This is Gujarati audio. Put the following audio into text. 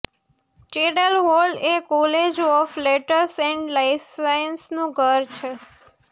ચૅડલ હોલ એ કોલેજ ઓફ લેટર્સ એન્ડ સાયન્સનું ઘર છે